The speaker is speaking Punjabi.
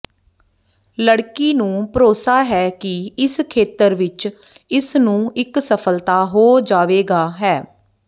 ਲੜਕੀ ਨੂੰ ਭਰੋਸਾ ਹੈ ਕਿ ਇਸ ਖੇਤਰ ਵਿੱਚ ਇਸ ਨੂੰ ਇੱਕ ਸਫਲਤਾ ਹੋ ਜਾਵੇਗਾ ਹੈ